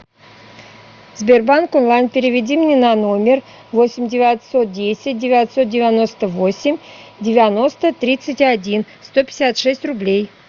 сбербанк онлайн переведи мне на номер восемь девятьсот десять девятьсот девяносто восемь девяносто тридцать один сто пятьдесят шесть рублей